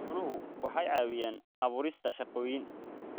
Xooluhu waxay caawiyaan abuurista shaqooyin.